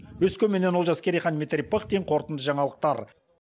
өскеменнен олжас керейхан дмитрий пыхтин қорытынды жаңалықтар